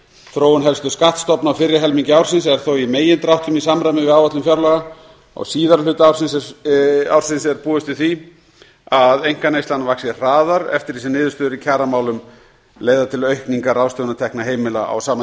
þróun helstu skattstofna á fyrri helmingi ársins er þó í megindráttum í samræmi við áætlun fjárlaga á síðari hluta ársins er búist við því að einkaneyslan vaxi hraðar eftir því sem niðurstöður í kjaramálum leiða til aukningar ráðstöfunartekna heimila á sama